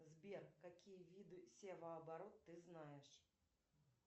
сбер какие виды севооборот ты знаешь